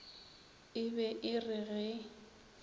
e be e re ge